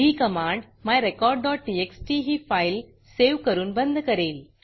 ही command myrecordटीएक्सटी ही file save करून बंद करेल